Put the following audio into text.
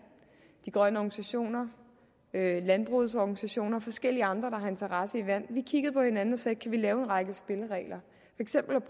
de grønne organisationer landbrugsorganisationer og forskellige andre der har interesse i vand vi kiggede på hinanden og sagde kan vi lave en række spilleregler